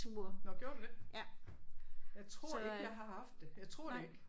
Nåh gjorde du det? Jeg tror ikke jeg har haft det jeg tror det ikke